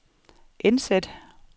indsæt